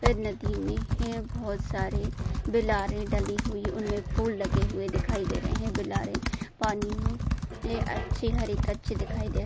नदी मे हे बहुत सारे बिलारे डली हुई उन मे फूल लगे हुवे दिखाई दे रहे है बिलारे पानी मे इतने अच्छे हरेक अच्छे दिखाई दे --